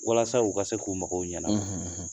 Walasa u ka se k'u mɔgɔw ɲɛna, .